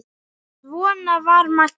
Svona var Maggi.